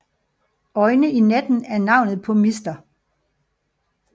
Øjne i natten er navnet på Mr